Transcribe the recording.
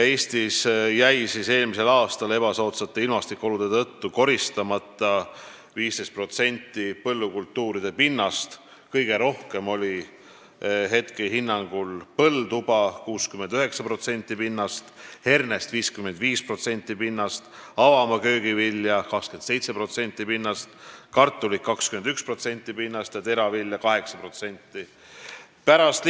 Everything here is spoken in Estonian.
Eestis jäi eelmisel aastal ebasoodsate ilmastikuolude tõttu koristamata 15% põllukultuuride pinnast, kõige rohkem hetkehinnangul põlduba, seda 69% pinnast, hernest 55% pinnast, avamaaköögivilja 27%, kartulit 21% ja teravilja 8% pinnast.